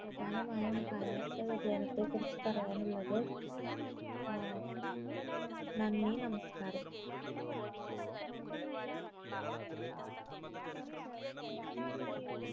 പ്രധാനമായും കാലാവസ്ഥാ വ്യതിയാനത്തെ കുറിച്ച് പറയാനുള്ളത് അഹ് നന്ദി നമസ്കാരം